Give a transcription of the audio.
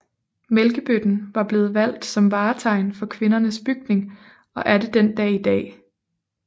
Mælkebøtten var blevet valgt som vartegn for Kvindernes Bygning og er det den dag i dag